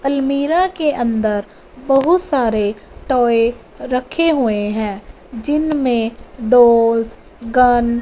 अलमीरा के अन्दर बहुत सारे टॉय रखे हुए है जिनमें डाल्स गन --